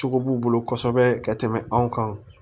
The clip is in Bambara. Cogo b'u bolo kosɛbɛ ka tɛmɛ anw kan